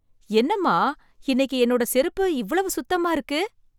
என்னம்மா இன்னைக்கு என்னோட செருப்பு இவ்ளோ சுத்தமா இருக்கு.